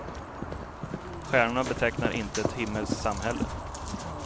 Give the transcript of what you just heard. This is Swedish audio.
Stjärnorna betecknar inte ett himmelskt samhälle.